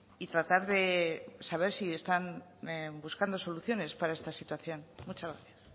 y tratar de saber si están buscando soluciones para esta situación muchas gracias